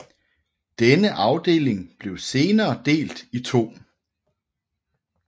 Denne afdeling blev senere delt i to